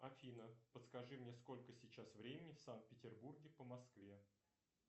афина подскажи мне сколько сейчас времени в санкт петербурге по москве